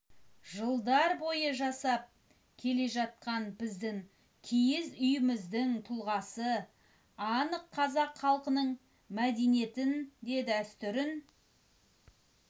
жылдар бойы жасап келе жатқан біздің киіз үйіміздің тұлғасы анық қазақ халқының мәдениетін де дәстүрін